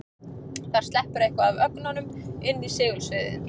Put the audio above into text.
Þar sleppur eitthvað af ögnunum inn í segulsviðið.